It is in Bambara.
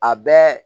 A bɛɛ